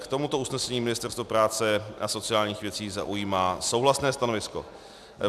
K tomuto usnesení Ministerstvo práce a sociálních věcí zaujímá souhlasné stanovisko.